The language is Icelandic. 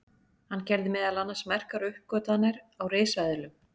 hann gerði meðal annars merkar uppgötvanir á risaeðlum